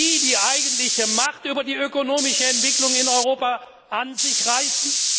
Und die, die eigentliche Macht über die ökonomische Entwicklung in Europa an sich reißen?